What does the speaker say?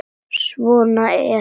Svona er.